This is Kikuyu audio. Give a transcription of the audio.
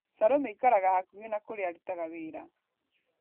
salome aikaraga hakuhĩ na kũrĩa arutaga wĩra